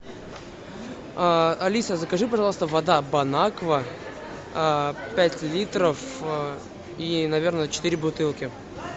алиса закажи пожалуйста вода бон аква пять литров и наверное четыре бутылки